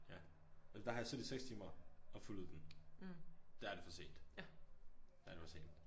Ja og der har jeg siddet i 6 timer og fuldet den. Der er det for sent. Der det for sent